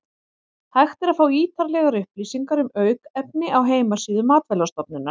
Hægt er að fá ítarlegar upplýsingar um aukefni á heimasíðu Matvælastofnunar.